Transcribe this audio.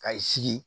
Ka i sigi